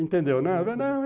Entendeu, né?